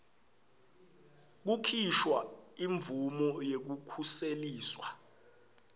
kukhishwa imvumo yekukhuseliswa